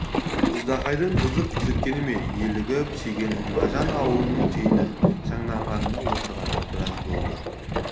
ждақайдың қызық көрсетеміне елігіп шегенің мажан ауылының түйе шаңдағында отырғанына біраз болды